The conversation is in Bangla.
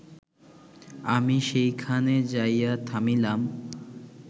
আমি সেইখানে যাইয়া থামিলাম